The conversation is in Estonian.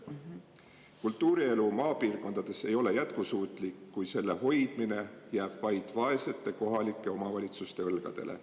Kultuurielu maapiirkondades ei ole jätkusuutlik, kui selle hoidmine jääb vaid vaeste kohalike omavalitsuste õlgadele.